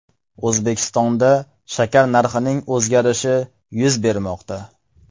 O‘zbekistonda shakar narxining o‘zgarishi yuz bermoqda.